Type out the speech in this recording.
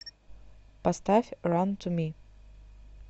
поставь ран ту ми